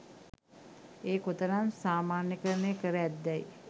එය කෙතරම් සාමාන්‍යකරණය කර ඇත්දැයි